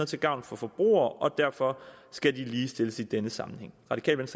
til gavn for forbrugere og derfor skal de ligestilles i denne sammenhæng radikale